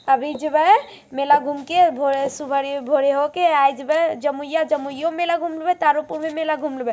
अभी जेबे मेला घूम के भोरे सुबह भोरे होके आइ जबे जमुइआ जमुइओ में मेला घूम लेबे तारो पुर में मेला घुम लेबे।